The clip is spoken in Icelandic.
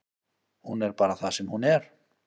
Hún er bara það sem hún er.